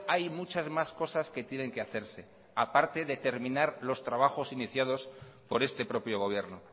hay muchas más cosas que tienen que hacerse a parte de terminar los trabajos iniciados por este propio gobierno